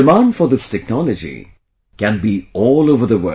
Demand for this technology can be all over the world